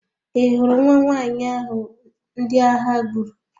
Ị hụrụ nwa nwanyị ahụ ndị agha gburu?